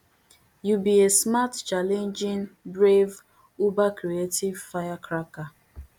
you be a smart challenging brave ubercreative firecracker